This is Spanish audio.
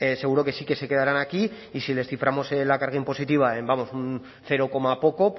seguro que sí que se quedarán aquí y si les ciframos la carga impositiva en vamos un cero coma poco